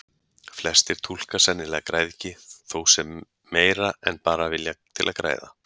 Flestir túlka sennilega græðgi þó sem meira en bara vilja til að græða.